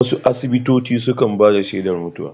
Wasu asibitoci sukan bada shedar mutuwa